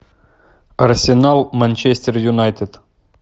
арсенал манчестер юнайтед